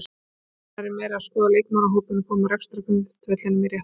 Yfir veturinn er ég meira að skoða leikmannahópinn og koma rekstrargrundvellinum í rétt horf.